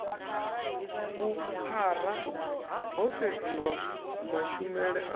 vhuphara ho sedziwa mashumele a